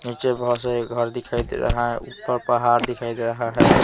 नीचे बहुत सारे घर दिखाई दे रहा है ऊपर पहाड़ दिखाई दे रहा है.